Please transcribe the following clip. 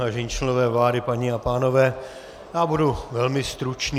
Vážení členové vlády, paní a pánové, já budu velmi stručný.